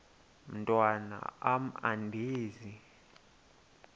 mntwan am andizi